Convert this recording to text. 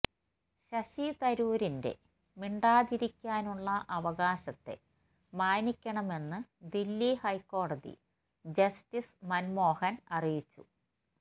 ശശി തരൂരിന്റെ മിണ്ടാതിരിക്കാനുള്ള അവകാശത്തെ മാനിക്കണമെന്ന് ദില്ലി ഹൈക്കോടതി ജസ്റ്റിസ് മൻമോഹൻ അറിയിച്ചു